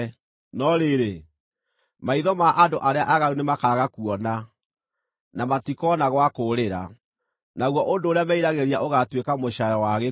No rĩrĩ, maitho ma andũ arĩa aaganu nĩmakaaga kuona, na matikoona gwa kũũrĩra; naguo ũndũ ũrĩa meriragĩria ũgaatuĩka mũcaayo wa gĩkuũ.”